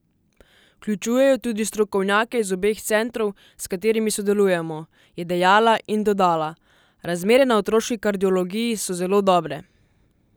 Vključujejo tudi strokovnjake iz obeh centrov, s katerimi sodelujemo," je dejala in dodala: "Razmere na otroški kardiologiji so zelo dobre.